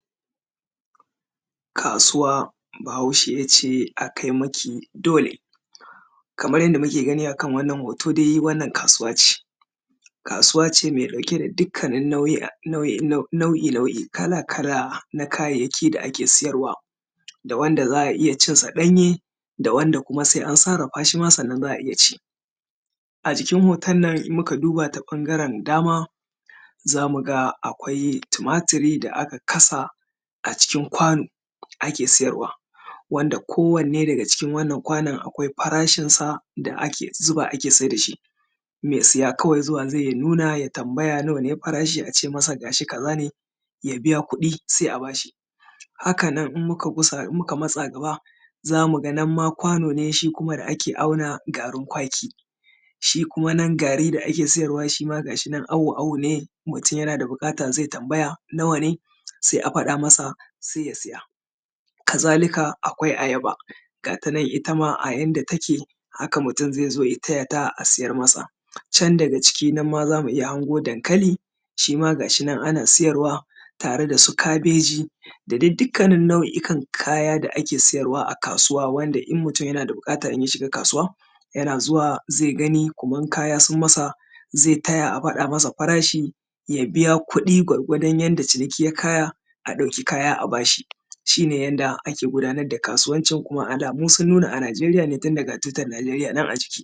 kasuwa bahaushe ya ce a kai maki dole, kamar yadda muke gani a kan wannan hoto dai wannan kasuwa ce kasuwa ce mai ɗauke da nau’i-nau’i kala-kala na kayyaki da ake sayarwa. Da wanda za a iya cin sa ɗanye da wanda sai an sarrafa sannan za a iya ci. A jikin hoton nan idan muka duba ta ɓangaren dama, za mu ga akwai tumari da aka kasa, a cikin kwano ake sayarwa, wanda kowanne daga cikin wannan kʷanon akʷai farashin sa da ake zuba ake sai da shi. Mai siya zuwa kawai zai ya nuna ya tambaya nawa ne farashin, a ce ga shi kaza ne, ya biya kuɗi sai a ba shi. Haka nan idan muka gusa matsa gaba, za mu ga nan ma kwano ne da ake auna garin kwaki. Shi kuma nan gari da ake sayarwa awo-awo ne mutum yana da buƙata ya tambaya nawa ne. Sai a faɗa masa sai ya saya. Kazalika akwai ayaba ga tanan inda take haka mutum zai zo ya taya ta, a sayar masa. Can daga ciki nan ma za mu iya hango dankali, shi ma ga shi nan ana sayarwa, tare da su kabeji da dai dukan nau’ikan kaya da ake sayarwa a kasuwa, wanda idan mutum yana da buƙata in ya shiga kasuwa, yana zuwa zai gani kuma idan kaya sun masa zai taya a gaya masa farashi. Ya biya kuɗi gwargwadon yadda ciniki ya kaya a ɗauki kaya a ba shi, shi ne yadda ake gudanar da kasuwancin alamu sun nuna a najeriya ne tun da ga tutar najeriya nan a ciki.